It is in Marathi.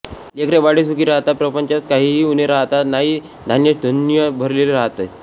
लेकरेबाळे सुखी राहतात प्रपंचात काहीही उणे राहात नाही धान्यधुन्य भरलेले राहते